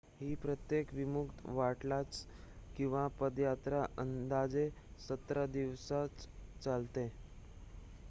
ही प्रत्येक विमुक्त वाटचाल किंवा पदयात्रा अंदाजे 17 दिवस चालते